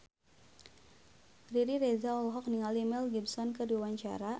Riri Reza olohok ningali Mel Gibson keur diwawancara